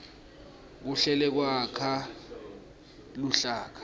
kuhlela kwakha luhlaka